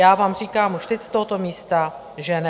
Já vám říkám už teď z tohoto místa, že ne.